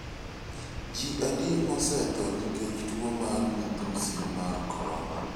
Ji adi mosetho nikech tuo mar midhusi mag korona?